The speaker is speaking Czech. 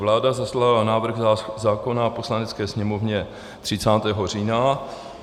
Vláda zaslala návrh zákona Poslanecké sněmovně 30. října.